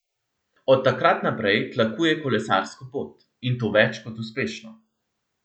Od takrat naprej tlakuje kolesarsko pot, in to več kot uspešno.